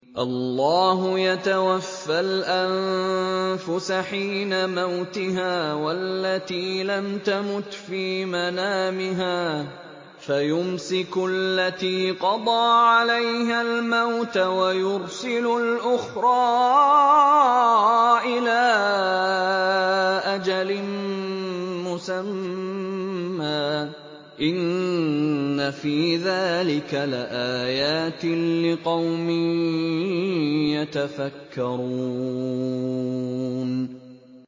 اللَّهُ يَتَوَفَّى الْأَنفُسَ حِينَ مَوْتِهَا وَالَّتِي لَمْ تَمُتْ فِي مَنَامِهَا ۖ فَيُمْسِكُ الَّتِي قَضَىٰ عَلَيْهَا الْمَوْتَ وَيُرْسِلُ الْأُخْرَىٰ إِلَىٰ أَجَلٍ مُّسَمًّى ۚ إِنَّ فِي ذَٰلِكَ لَآيَاتٍ لِّقَوْمٍ يَتَفَكَّرُونَ